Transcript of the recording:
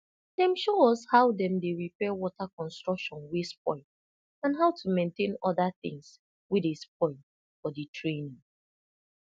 dem show us how dem dey repair water construction wey spoil and how to maintain oda tins wey dey spoil for di training